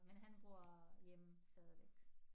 Men han bor hjemme stadigvæk